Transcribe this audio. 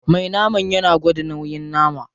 Me naman yana gwada nauyin nama.